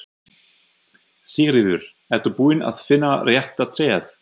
Sigríður: Ertu búinn að finna rétta tréð?